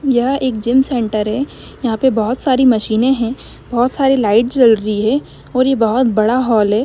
यह एक gym centre है यहा पे बहुत सारी मशीनें है बहुत सारी लाइट जल रही है और यह बहुत बड़ा हॉल है।